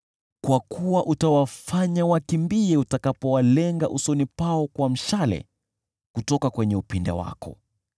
kwa kuwa utawafanya wakimbie utakapowalenga usoni pao kwa mshale kutoka kwenye upinde wako.